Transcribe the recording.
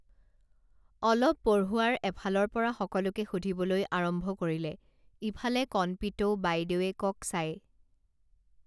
অলপ পঢ়োৱাৰ এফালৰ পৰা সকলোকে সুধিবলৈ আৰম্ভ কৰিলে ইফালে কণপিতৌ বাইদেৱেকক চাই